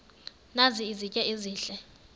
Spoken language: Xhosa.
nazi izitya ezihle